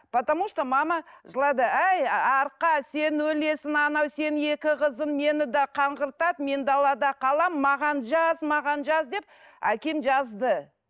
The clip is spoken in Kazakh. потому что мама жылады әй арқа сен өлесің анау сенің екі қызың мені де қаңғыртады мен далада қаламын маған жаз маған жаз деп әкем жазды